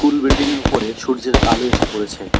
কুল বিল্ডিংয়ের উপরে সূর্যের আলো এসে পড়েছে।